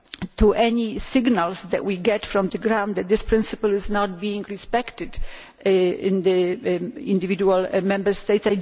to any signals we get from the ground that this principle is not being respected in the individual Member States.